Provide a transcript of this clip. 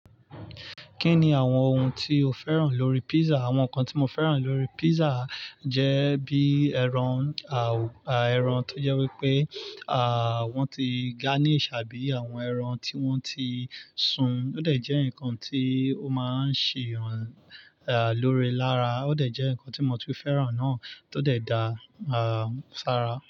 Kí ni àwọn ohun tí o fẹ́ràn lórí pizza? Àwọn nǹkan tí mo fẹ́ràn lórí pizza jẹ́ bíi ẹran, ẹran tó jẹ́ wípé, à, wón ti garnish àbí àwọn ẹran tí wón ti sun. Ó dẹ̀ jẹ́ ǹkan tí ó máa ń ṣe àlòre lára. Ó dẹ̀ jẹ́ ǹkan tí mo tu fẹ́ràn náà, tó dẹ̀ da, à, ṣára.